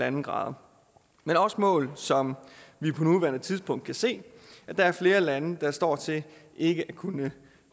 en grad men også mål som vi på nuværende tidspunkt kan se at der er flere lande der står til ikke at kunne